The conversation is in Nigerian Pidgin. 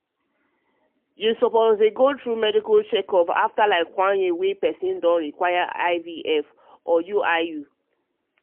to go through medical checkup ehnnafter like one year wey person don dey require ivf and iui ivf and iui